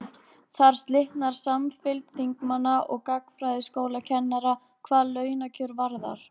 Þar slitnar samfylgd þingmanna og gagnfræðaskólakennara hvað launakjör varðar.